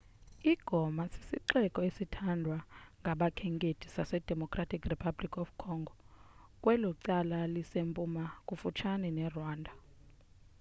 i-goma sisixeko esithandwa ngabakhenkethi sasedemocratic republic of congo kwelo cala lisempuma kufutshane nerwanda